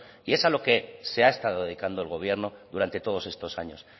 y es a lo que se ha estado dedicando el gobierno durante todos estos años